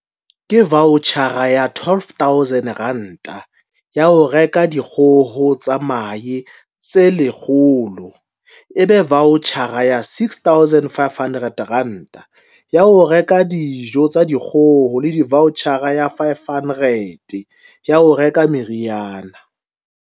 "Ke vaotjhara ya R12 000 ya ho reka dikgoho tsa mahe tse 100, ebe vaotjhara ya R6 500 ya ho reka dijo tsa dikgoho le vaotjhara ya R500 ya ho reka meriana".